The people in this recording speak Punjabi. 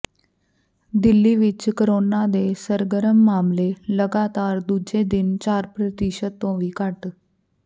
ਦਿੱਲੀ ਵਿਚ ਕੋਰੋਨਾ ਦੇ ਸਰਗਰਮ ਮਾਮਲੇ ਲਗਾਤਾਰ ਦੂਜੇ ਦਿਨ ਚਾਰ ਪ੍ਰਤੀਸ਼ਤ ਤੋਂ ਵੀ ਘੱਟ